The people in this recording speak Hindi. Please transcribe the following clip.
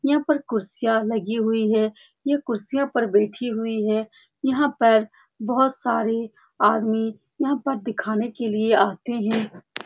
यहाँ पर कुर्सियां लगी हुई है यह कुर्सियां पे बैठी हुई है यहाँ पर बहुत सारे आदमी यहाँ पर दिखने के लिए आते है।